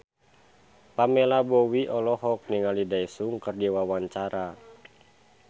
Pamela Bowie olohok ningali Daesung keur diwawancara